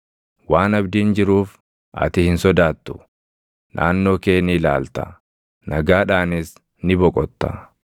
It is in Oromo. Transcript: Waan abdiin jiruuf ati hin sodaattu; naannoo kee ni ilaalta; nagaadhaanis ni boqotta.